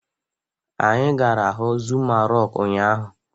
Anyị gara huu Zuma Rọku ụnyaahụ.